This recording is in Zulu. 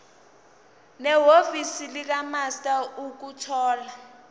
nehhovisi likamaster ukuthola